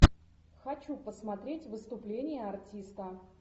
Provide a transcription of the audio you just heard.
хочу посмотреть выступление артиста